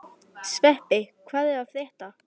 Sveppi, hvað er að frétta?